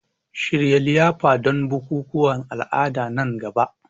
Shirya liyafa don bukukuwan al'adu a nan gaba.